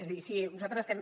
és a dir si nosaltres estem